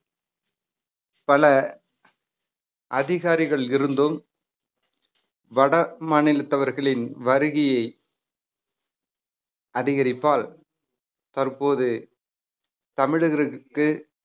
பல அதிகாரிகள் இருந்தும் வட மாநிலத்தவர்களின் வருகையை அதிகரிப்பால் தற்போது தமிழர்களுக்கு